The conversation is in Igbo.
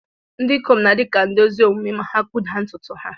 Ndị ikom na-adi ka ndi ezi omume ma ha kpuda ntùtù ha.